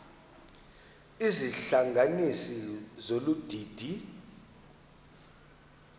izihlanganisi zolu didi